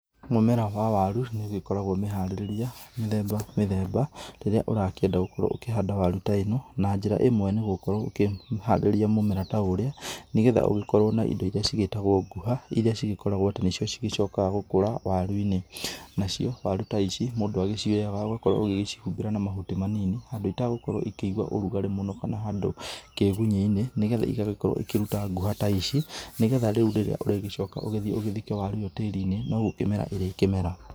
Mũmera wa waru, nĩ ũgĩkoragwo mĩharĩrĩrie mĩthemba mĩthemba, rĩrĩa ũrakĩenda gũkorwo ũkĩhanda waru ta ĩno. Na njĩra ĩmwe nĩgũkorwo ũkĩharĩria mũmera ta ũrĩa, nĩgetha ũgĩkorwo na indo iria cigĩtagwo nguha. Iria cĩgĩkoragwo atĩ nĩcio cĩgĩcokaga gũkũra waru-inĩ. Nacio waru ta ici, mũndũ acioyaga, ũgagĩkorwo ũgĩcihumbĩra na mahuti manini, handũ itagũkorwo ĩkĩigua ũrugarĩ mũno, kana handũ kĩgunyĩinĩ, nĩgetha igagĩkorwo ikĩruta nguha ta ici. Nĩgetha rĩu rĩrĩa ũrĩgĩcoka ũgĩthiĩ ũgĩthike waru ĩo tĩrinĩ, no gũkĩmera ĩrĩkĩmera.